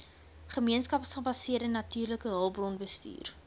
gemeenskapsgebaseerde natuurlike hulpbronbestuur